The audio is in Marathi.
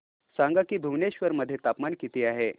सांगा की भुवनेश्वर मध्ये तापमान किती आहे